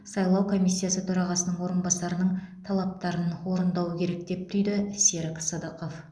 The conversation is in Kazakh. сайлау комисиясы төрағасының орынбасарының талаптарын орындауы керек деп түйді серік сыдықов